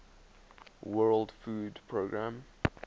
world food programme